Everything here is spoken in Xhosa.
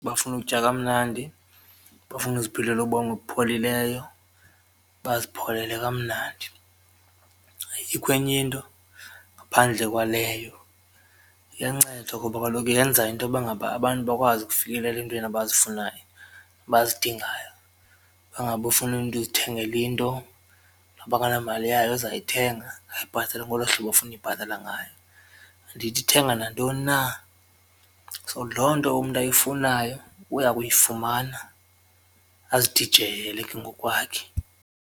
Bafuna ukutya kamnandi, bafuna uziphilela ubomi obupholileyo bazipholele kamnandi ayikho enye into ngaphandle kwaleyo, iyanceda ngoba kaloku yenza intoba ngaba abantu bakwazi ukufikelela entweni abazifunayo, abazidingayo. Bangaba ufuna umntu uzithengela into noba akanamali yayo uzayithenga ayibhatale ngolo hlobo afuna uyibhatala ngayo andithi ithenga nantoni na, so loo nto umntu ayifunayo uya kuyifumana azidijeyele ke ngokwakhe.